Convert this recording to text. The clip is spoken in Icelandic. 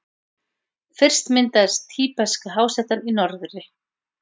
Fyrst myndaðist Tíbeska-hásléttan í norðri.